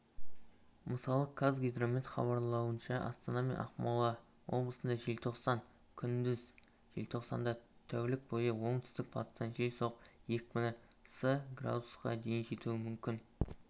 мысалы қазгидромет хабарлауынша астана мен ақмола облысында ежлтоқсанда күндіз және желтоқсанда тәулік бойына оңтүстік-батыстан жел соғып екпіні с-қа дейін жетуі мүмкін